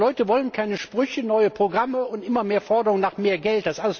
Die Leute wollen keine Sprüche, neue Programme und immer mehr Forderungen nach mehr Geld.